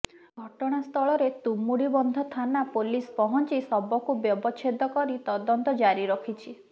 ଘଟଣାସ୍ଥଳରେ ତୁମୁଡିବନ୍ଧ ଥାନା ପୋଲିସ ପହଞ୍ଚି ଶବକୁ ବ୍ୟବଚ୍ଛେଦ କରି ତଦନ୍ତ ଜାରି ରଖିଛି